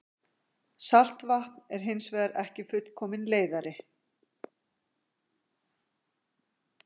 saltvatn er hins vegar ekki fullkominn leiðari